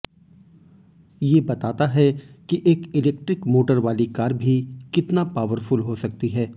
ये बताता है कि एक इलेक्ट्रिक मोटर वाली कार भी कितना पावरफुल हो सकती है